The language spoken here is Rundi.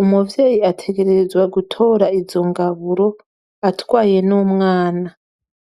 umuvyeyi ategerezwa gutora izo ngaburo atwaye n'umwana.